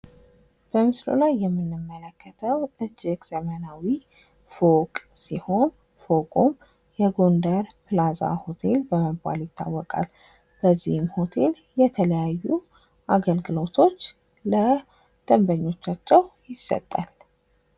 በምስሉ ላይ የምንመለከተው እጅግ ዘመናዊ ፎቅ ሲሆን ይህ ፎቅ ጎንደር ፕላዛ ሆቴል በመባል ይታወቃል ።ይህ ሆቴል የተለያዩ አግልግሎቶች ለደንበኞቻቸው ይሰጣል።